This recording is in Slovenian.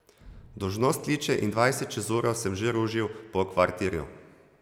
Dolžnost kliče in dvajset čez uro sem že ružil po kvartirju.